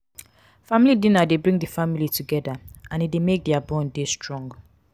family dinner de bring di family together and e de make their bond de strong